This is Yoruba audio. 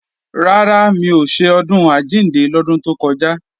Rárá, mi ò ṣe Ọdún Àjíǹde lọ́dún tó kọjá